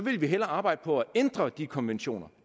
vi hellere arbejde på at ændre de konventioner